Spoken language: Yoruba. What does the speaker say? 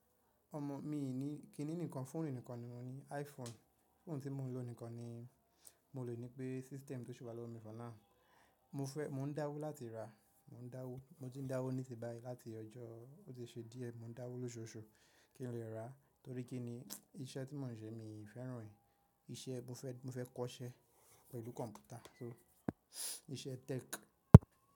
Ọmọ mii ì ní, kíni ǹikan fóònù nìkan ni mo ní iPhone. Foonu tí mo ń lò nìkan ni mo lè ní pé system tó ṣi wa low-rise ìbálòpọ̀ mi fọ́nà. Mo fẹ́, mo ń dáwó lowáti ra, mo ń dáwó. Mo ti ń dáwó nísìbàáyi láti ọjọ́, ó ti ṣe díẹ̀ mo ń dáwó lóṣooṣù kí n lè ra torí kí ni iṣẹ́ tí mò ń ṣe mi fẹ́ràn e. Iṣẹ́ mo fẹ́, mo fẹ́ kọ́sẹ́ pẹ̀lú kọ̀ǹpútà so iṣẹ́ tech.